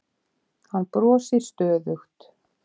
Hann brosir stöðugt.